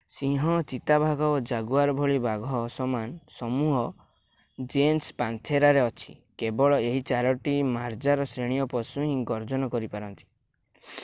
ସିଂହ ଚିତାବାଘ ଓ ଜାଗୁଆର୍ ଭଳି ବାଘ ସମାନ ସମୂହ ଜେନସ୍ ପାନ୍ଥେରାରେ ଅଛି। କେବଳ ଏହି ଚାରୋଟି ମାର୍ଜାର ଶ୍ରେଣୀୟ ପଶୁ ହିଁ ଗର୍ଜନ କରିପାରନ୍ତି।